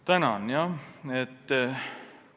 Tänan!